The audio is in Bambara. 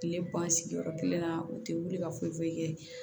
Kile ban sigiyɔrɔ kelen na u tɛ wuli ka foyi foyi kɛ